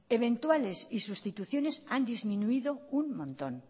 eventuales y sustituciones han disminuido un montón